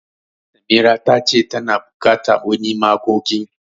Samira ta ce tana bukata wani magogin.